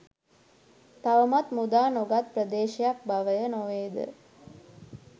තවමත් මුදා නොගත් ප්‍රදේශයක් බවය නොවේද?